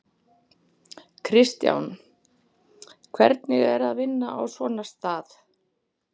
Kristján: Hvernig er að vinna á svona stað?